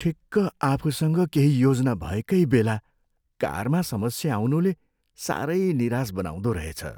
ठिक्क आफूसँग केही योजना भएकै बेला कारमा समस्या आउनुले साह्रै निराश बनाउँदो रहेछ।